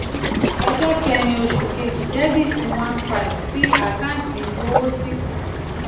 ọjọ́ kẹ́rin oṣù kejì: debiti one five sí àkáǹtì ìgbowósí sí àkáǹtì ìgbowósí